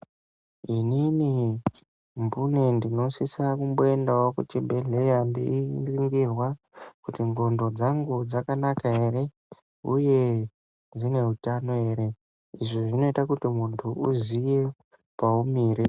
Inini mbune ndino sungirwa kuenda kuchibhehlera, kuti ndivhenekwe nqondo dzangu kuti dzakanaka here uye dzineutano here izvi zvinoita muntu azive paumire.